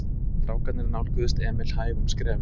Strákarnir nálguðust Emil hægum skrefum.